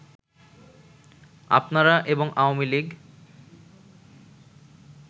আপনারা এবং আওয়ামী লীগ